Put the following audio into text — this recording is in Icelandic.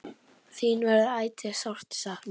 Þín verður ætíð sárt saknað.